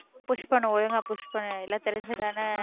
push பண்ணு ஒழுங்கா push பண்ணு இல்லை தெரிஞ்சுதானே